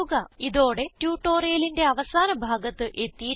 ഇതോടെ ട്യൂട്ടോറിയലിന്റെ അവസാന ഭാഗത്ത് എത്തിയിരിക്കുന്നു